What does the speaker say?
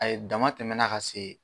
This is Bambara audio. A ye damatɛmɛna ka se